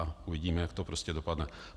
A uvidíme, jak to prostě dopadne.